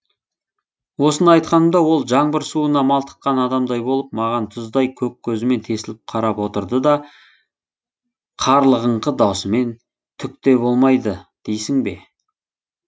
осыны айтқанымда ол жаңбыр суына малтыққан адамдай болып маған тұздай көк көзімен тесіліп қарап отырды да қарлығыңқы дауысымен түк те болмайды дейсің бе